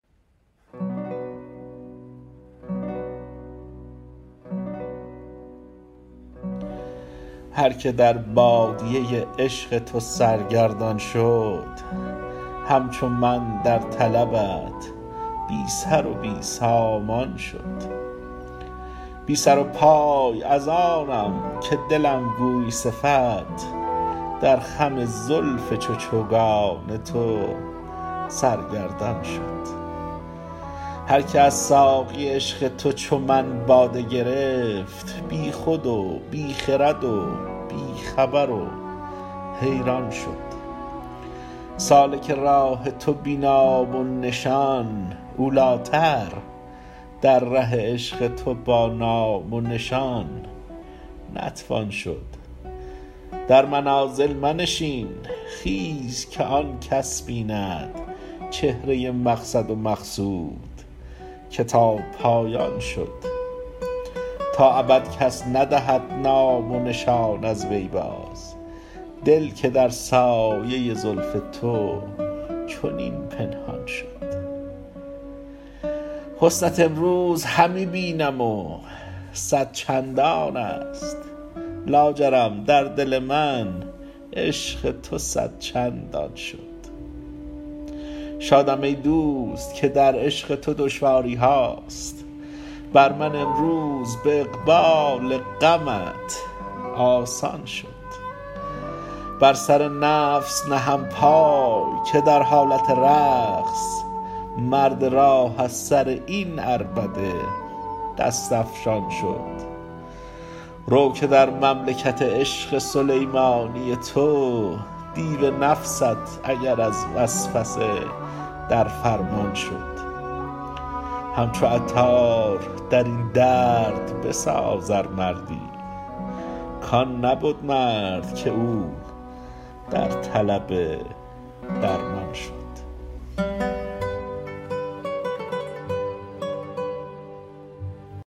هر که در بادیه عشق تو سرگردان شد همچو من در طلبت بی سر و بی سامان شد بی سر و پای از آنم که دلم گوی صفت در خم زلف چو چوگان تو سرگردان شد هر که از ساقی عشق تو چو من باده گرفت بی خود و بی خرد و بی خبر و حیران شد سالک راه تو بی نام و نشان اولیتر در ره عشق تو با نام و نشان نتوان شد در منازل منشین خیز که آن کس بیند چهره مقصد و مقصود که تا پایان شد تا ابد کس ندهد نام و نشان از وی باز دل که در سایه زلف تو چنین پنهان شد حسنت امروز همی بینم و صد چندان است لاجرم در دل من عشق تو صد چندان شد شادم ای دوست که در عشق تو دشواری ها بر من امروز به اقبال غمت آسان شد بر سر نفس نهم پای که در حالت رقص مرد راه از سر این عربده دست افشان شد رو که در مملکت عشق سلیمانی تو دیو نفست اگر از وسوسه در فرمان شد همچو عطار درین درد بساز ار مردی کان نبد مرد که او در طلب درمان شد